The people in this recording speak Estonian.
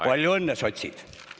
Palju õnne, sotsid!